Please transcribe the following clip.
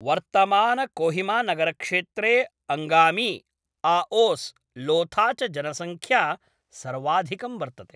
वर्तमानकोहिमानगरक्षेत्रे अङ्गामि, आओस्, लोथा च जनसंख्या सर्वाधिकं वर्तते ।